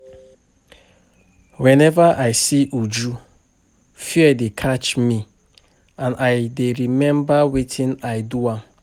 Whenever I see Uju fear dey catch me and I dey remember wetin I do am